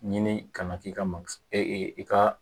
Ɲini ka na k'i ka i ka